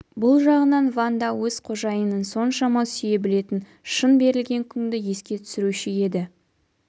бұл жағынан ванда өз қожайынын соншама сүйе білетін шын берілген күңді еске түсіруші еді